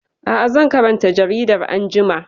Aa, zan karanta jaridar anjima